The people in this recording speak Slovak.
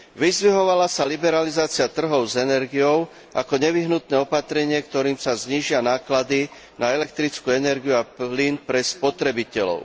Vyzdvihovala sa liberalizácie trhov s energiou ako nevyhnutné opatrenie, ktorým sa znížia náklady na elektrickú energiu a plyn pre spotrebiteľov.